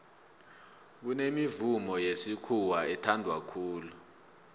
kunemivumo yesikhuwa ethanwa khulu